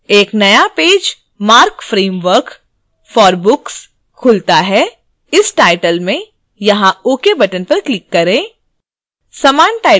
एक नया page marc framework for books bk खुलता है इस टाइटल में यहाँ ok बटन पर क्लिक करें